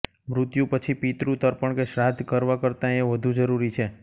મૃત્યુ પછી પિતૃ તર્પણ કે શ્રાદ્ધ કરવા કરતાં એ વધુ જરૂરી છે